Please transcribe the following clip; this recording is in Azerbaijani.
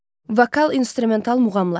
Vokal instrumental muğamlar.